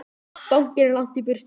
Bankinn er langt í burtu.